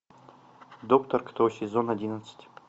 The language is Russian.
доктор кто сезон одиннадцать